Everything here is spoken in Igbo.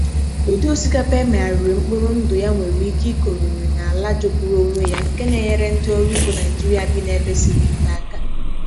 Ụdị osikapa e megharịrị mkpụrụ ndụ ya nwere ike ịkụrịrị na ala jọgburu onwe ya, nke na-enyere ndị ọrụ ugbo Naịjịrịa bi na ebe siri ike aka.